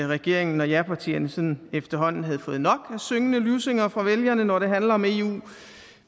regeringen og japartierne sådan efterhånden havde fået nok af syngende lussinger fra vælgerne når det handler om eu